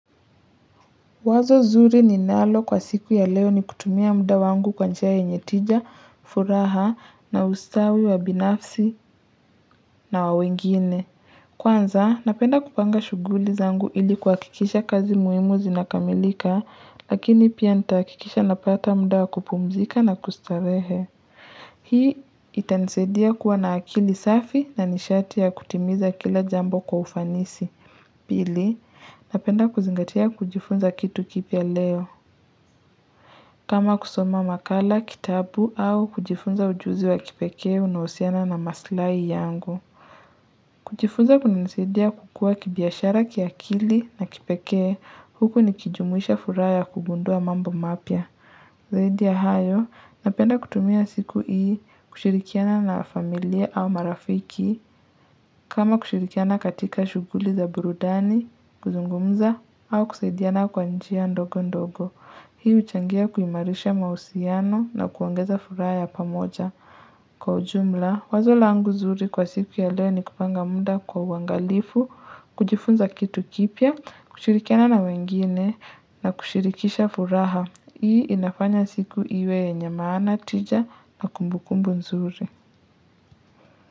Wazo nzuri ninalo kwa siku ya leo ni kutumia muda wangu kwa njia yenye tija, furaha, na ustawi wa binafsi na wa wengine. Kwanza, napenda kupanga shughuli zangu ili kuhakikisha kazi muhimu zinakamilika, lakini pia nitahakikisha napata muda wakupumzika na kustarehe. Hii itanisadia kuwa na akili safi na nishati ya kutimiza kila jambo kwa ufanisi. Pili, napenda kuzingatia kujifunza kitu kipya leo. Kama kusoma makala, kitabu au kujifunza ujuzi wa kipekee unaohusiana na maslahi yangu. Kujifunza kuna nisadia kukua kibiashara kiakili na kipekee huku nikijumuisha furaha ya kugundua mambo mapya. Zaidia hayo, napenda kutumia siku hii kushirikiana na familia au marafiki kama kushirikiana katika shughuli za burudani, kuzungumza au kusaidiana kwa njia ndogo ndogo. Hii huchangia kuimarisha mahusiano na kuongeza furaha ya pamoja. Kwa ujumla, wazo langu nzuri kwa siku ya leo ni kupanga muda kwa uangalifu, kujifunza kitu kipya, kushirikiana na wengine na kushirikisha furaha. Hii inafanya siku iwe yenye maana, tija na kumbukumbu nzuri.